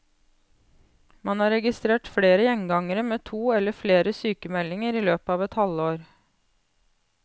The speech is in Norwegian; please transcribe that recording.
Man har registrert flere gjengangere med to eller flere sykemeldinger i løpet av et halvår.